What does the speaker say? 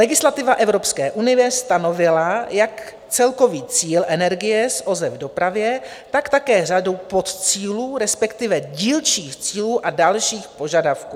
Legislativa Evropské unie stanovila jak celkový cíl energie z OZE v dopravě, tak také řadu podcílů, respektive dílčích cílů a dalších požadavků.